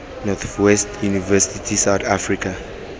north west university south africa